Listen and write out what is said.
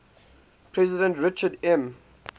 president richard m